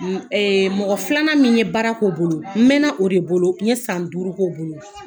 Mɔgɔ filanan min ye baara k'o bolo, n mɛn o de bolo, n ye san duuru k'o bolo.